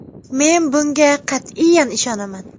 Men bunga qat’iyan ishonaman.